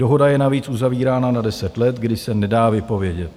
Dohoda je navíc uzavírána na 10 let, kdy se nedá vypovědět.